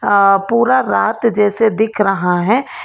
अ पूरा रात जैसे दिख रहा है।